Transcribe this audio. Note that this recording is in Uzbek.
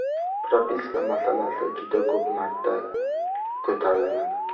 Propiska masalasi juda ko‘p marta ko‘tarilgan.